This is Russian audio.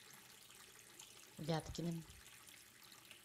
вяткиным